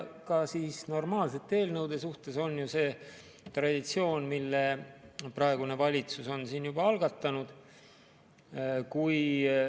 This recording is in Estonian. Ka normaalsete eelnõude puhul on ju see traditsioon, mille praegune valitsus on algatanud.